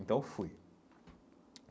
Então eu fui.